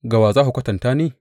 Ga wa za ku kwatanta ni?